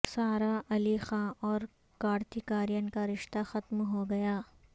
سارا علی خاں اور کارتک ارین کا رشتہ ختم ہوگیا